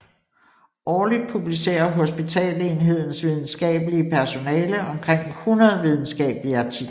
Årligt publicerer hospitalsenhedens videnskabelige personale omkring 100 videnskabelige artikler